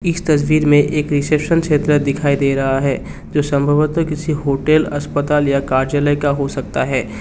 इस तस्वीर में एक रिसेप्शन क्षेत्र दिखाई दे रहा है जो संभवतः किसी होटल अस्पताल या काजले का हो सकता है।